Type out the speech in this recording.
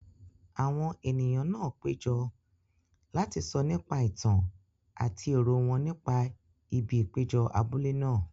Àwọn ènìyàn náà péjọ láti sọ nípa ìtàn àti èrò wọn nípa ibi ìpéjọ abúlé náà.